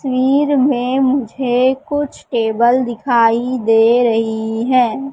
वीर में मुझे कुछ टेबल दिखाई दे रही हैं।